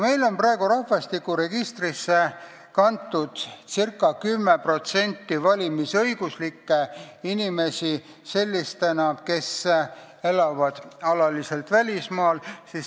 Meil on praegu rahvastikuregistrisse kantud ca 10% valimisõiguslikke inimesi sellistena, kes elavad alaliselt välismaal.